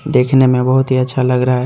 देखने में बहोत ही अच्छा लग रहा है।